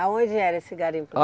Aonde era esse garimpo?